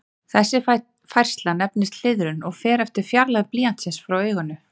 Þessi færsla nefnist hliðrun og fer eftir fjarlægð blýantsins frá auganu.